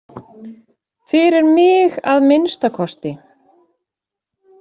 Fyrir mig, að minnsta kosti.